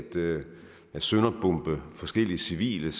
sønderbombe forskellige civile